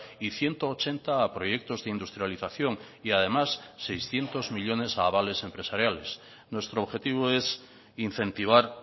y ciento ochenta a proyectos de industrialización y además seiscientos millónes a avales empresariales nuestro objetivo es incentivar